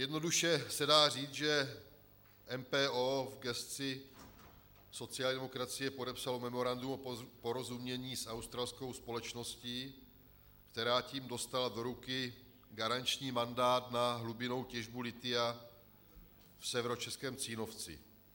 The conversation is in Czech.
Jednoduše se dá říct, že MPO v gesci sociální demokracie podepsalo memorandum o porozumění s australskou společností, která tím dostala do ruky garanční mandát na hlubinnou těžbu lithia v severočeském Cínovci.